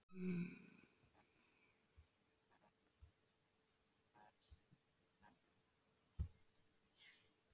Í þeim tveimur leikjum sem hann hefur spilað þar hefur hann staðið sig frábærlega.